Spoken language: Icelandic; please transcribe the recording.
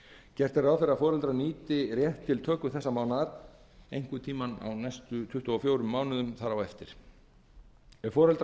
gert er ráð fyrir að foreldrar nýti rétt til töku þessa mánaðar einhvern tíma á næstu tuttugu og fjórum mánuðum þar á eftir ef foreldrar